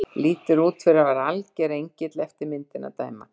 Lítur út fyrir að vera alger engill eftir myndinni að dæma.